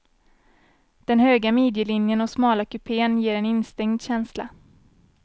Den höga midjelinjen och smala kupén ger en instängd känsla.